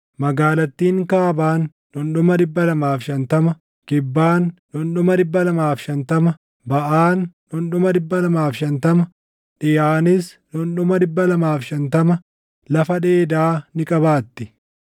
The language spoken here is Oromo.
Magaalattiin kaabaan dhundhuma 250, kibbaan dhundhuma 250, baʼaan dhundhuma 250, dhiʼaanis dhundhuma 250 lafa dheedaa ni qabaatti.